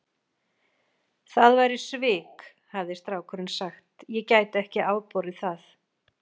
Það væru svik, hafði strákurinn sagt, ég gæti ekki afborið það.